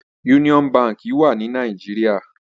Úniòn bànkí wà ni Nàijiriá